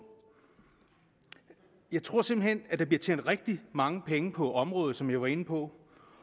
jeg tror simpelt hen at der bliver tjent rigtig mange penge på området som jeg var inde på